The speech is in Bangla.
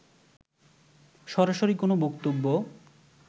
সরাসরি কোন বক্তব্য